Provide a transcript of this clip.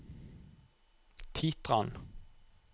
Titran